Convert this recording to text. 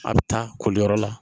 A bɛ taa koliyɔrɔ la